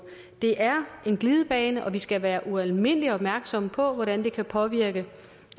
det er en glidebane og vi skal være ualmindelig opmærksomme på hvordan det kan påvirke